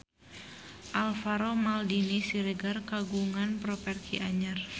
Alvaro Maldini Siregar kagungan properti anyar